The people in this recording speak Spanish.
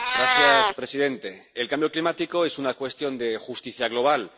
Señor presidente, el cambio climático es una cuestión de justicia global.